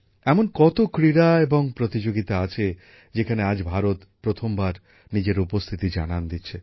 এমন কত ক্রীড়া এবং প্রতিযোগিতা আছে যেখানে আজ ভারত প্রথমবার নিজের উপস্থিতি জানান দিচ্ছে